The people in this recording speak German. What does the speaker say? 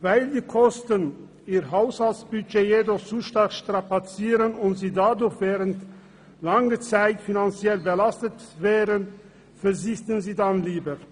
Weil die Kosten ihr Haushaltsbudget jedoch zu stark strapazieren und sie dadurch während langer Zeit finanziell belastet werden, verzichten sie dann lieber.